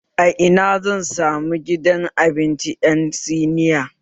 A Ina zan samu gidan abinci ƴan siniya